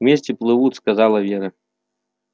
вместе плывут сказала вера